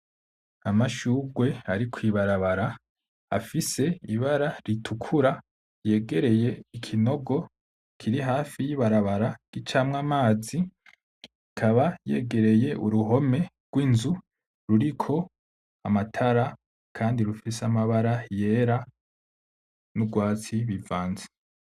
Amashurwe ari kw'ibarabara afise ibara ritukura, yegereye ikinogo kiri hafi y'ibarabara gicamwo amazi, ikaba yegereye uruhome rw'inzu ruriko amatara kandi rufise amabara yera n'ugwatsi bivanze.